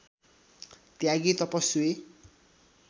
त्यागी तपस्वी